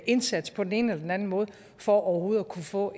indsats på den ene eller den anden måde for overhovedet at kunne få